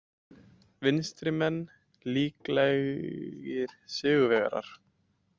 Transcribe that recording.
Vinstrimenn líklegir sigurvegarar